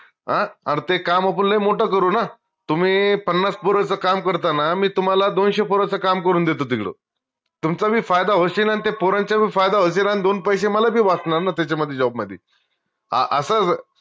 हां अर ते काम आपन लय मोट करू ना तुम्ही पन्नास पोरच काम करता ना मी तुम्हाला दोनशे पोराचं काम करून देतो तिकडं तुमचा बी फायदा होशील अन त्या पोरांचा बी फायदा होशील अन दोन पैशे मले बी वाचनार ना त्याच्या मदि job मदि आस